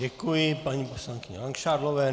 Děkuji paní poslankyni Langšádlové.